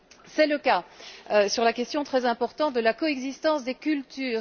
C'est le cas sur la question très importante de la coexistence des cultures.